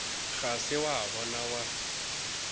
ga se wa ba wa